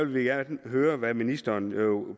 vil gerne høre hvad ministeren